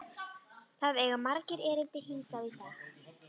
Það eiga margir erindi hingað í dag.